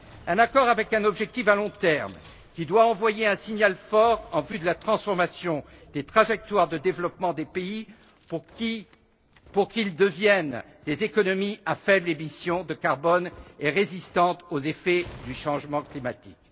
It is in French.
Un accord avec un objectif à long terme, qui doit envoyer un signal fort en vue de la transformation des trajectoires de développement des pays pour qu'ils deviennent des économies à faibles émissions de carbone et résistantes aux effets du changement climatique.